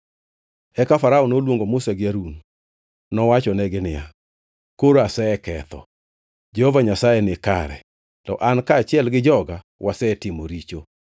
Eka Farao noluongo Musa gi Harun. Nowachonegi niya, “Koro aseketho. Jehova Nyasaye ni kare, to an kaachiel gi joga wasetimo richo.